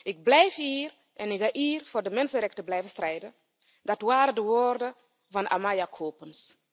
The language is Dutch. Ik blijf hier en ik ga hier voor de mensenrechten blijven strijden, dat waren de woorden van Amaya Coppens.